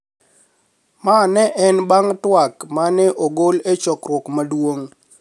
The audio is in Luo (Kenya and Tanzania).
Mano ne en bang' twak ma ne ogolo e chokruok maduong